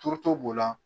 Turuto b'o la